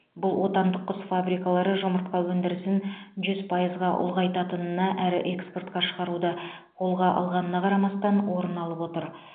бұл отандық құс фабрикалары жұмыртқа өндірісін жүз пайызға ұлғайтқанына әрі экспортқа шығаруды қолға алғанына қарамастан орын алып отыр